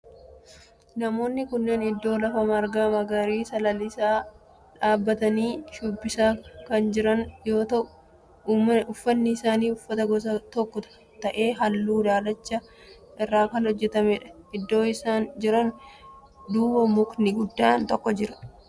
Namoonni kunneen iddoo lafa marga magariisa lalisaa dhaabbatanii shubbisaa kan jiran yoo ta'u uffanni isaan uffatan gosa tokko ta'e halluu daalacha irraa kan hojjetamedha. Iddoo isaan jiran duuba mukni guddaan tokko jira.